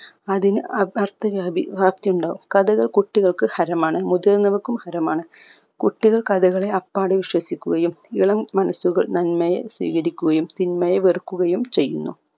അതിന് അഹ് അർത്ഥജാതി വ്യാപ്തി ഉണ്ടാവും കഥകൾ കുട്ടികൾക്ക് ഹരമാണ് മുതിർന്നവർക്കും ഹരമാണ് കുട്ടികൾ കഥകളെ അപ്പാടെ വിശ്വസിക്കുകയും ഇളം മനസ്സുകൾ നന്മയെ സ്വീകരിക്കുകയും തിന്മയെ വെറുക്കുകയും ചെയ്യുന്നു